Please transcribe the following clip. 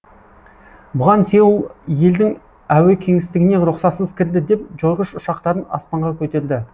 бұған сеул елдің әуе кеңістігіне рұқсатсыз кірді деп жойғыш ұшақтарын аспанға көтерді